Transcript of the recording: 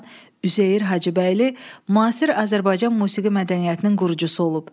Üzeyir Hacıbəyli müasir Azərbaycan musiqi mədəniyyətinin qurucusu olub.